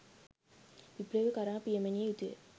විප්ලවය කරා පියමැනිය යුතුය